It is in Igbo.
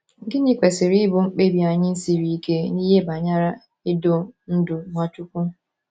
Gịnị kwesịrị ịbụ mkpebi anyị siri ike n’ihe banyere idu ndú Nwachukwu?